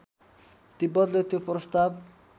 तिब्बतले त्यो प्रस्ताव